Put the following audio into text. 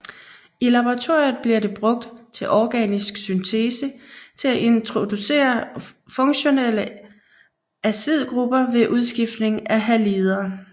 I laboratoriet bliver det brugt til organisk syntese til at introducere funktionelle azidgrupper ved udskiftning af halider